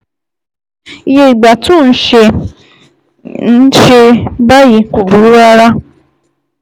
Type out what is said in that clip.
Iye ìgbà tó o ń ṣe é ń ṣe é báyìí kò burú rárá